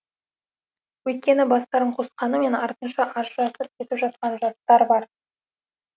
өйткені бастарын қосқанымен артынша ажырасып кетіп жатқан жастар бар